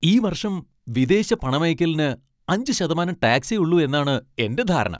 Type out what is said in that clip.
ഈ വർഷം വിദേശ പണമയയ്ക്കലിന് അഞ്ച് ശതമാനം ടാക്സേയുള്ളൂ എന്നാണ് എന്റെ ധാരണ.